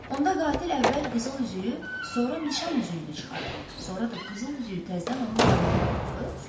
Onda qatil əvvəl qızıl üzüyü, sonra nişan üzüyünü çıxarıb, sonra da qızıl üzüyü təzdən onun barmağına taxıb.